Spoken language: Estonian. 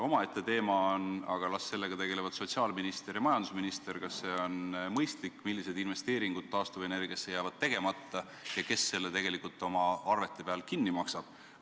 Omaette teema on – aga las sellega tegelevad sotsiaalminister ja majandusminister –, kas see on mõistlik, millised investeeringud taastuvenergiasse jäävad tegemata ja kes selle tegelikult oma arvete peal kinni maksab.